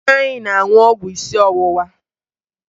Nna ya na-aṅụ ọgwụ isi ọwụwa